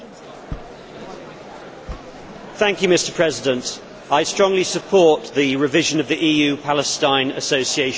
I strongly support the revision of the EU Palestine Association Agreement regarding agricultural and fisheries products.